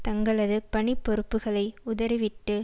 தங்களது பணிப்பொறுப்புக்களை உதறிவிட்டு